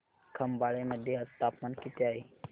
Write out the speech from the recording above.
खंबाळे मध्ये आज तापमान किती आहे